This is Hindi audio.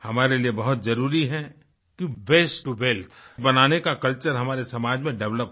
हमारे लिए बहुत जरुरी है कि वास्ते टो वेल्थ बनाने का कल्चर हमारे समाज में डेवलप हो